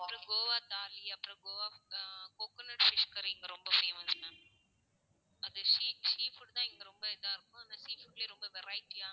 அப்பறம் கோவா தாலி, அப்பறம் Goa hmm coconut fish curry இங்க ரொம்ப famous ma'am அது sea~sea food தான் இங்க ரொம்ப இதா இருக்கும். அதனால sea food லயே ரொம்ப variety யா